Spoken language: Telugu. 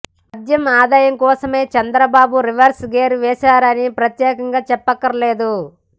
మద్యం ఆదాయం కోసమే చంద్రబాబు రివర్స్ గేర్ వేసారని ప్రత్యేకంగా చెప్పకర్లేదు